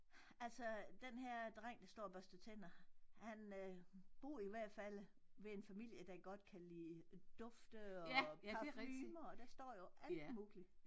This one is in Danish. Altså denne her dreng der står og børster tænder han øh bor i hvert fald ved en familie der godt kan lide dufte og parfumer der står jo alt muligt